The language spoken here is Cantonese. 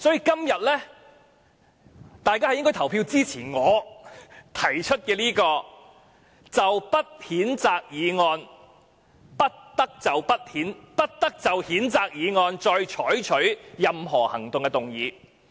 因此，大家今天應投票支持我提出的"不得就謝偉俊議員動議的譴責議案再採取任何行動"的議案。